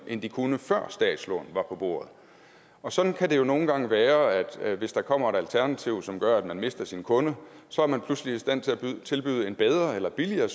end de kunne før statslån var på bordet og sådan kan det jo nogle gange være hvis der kommer et alternativ som gør at man mister sin kunde så er man pludselig i stand til at tilbyde en bedre eller billigere